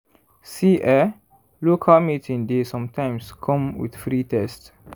see eh local meeting dey sometimes come with free test.